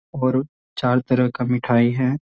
और चार तरह का मिठाई है।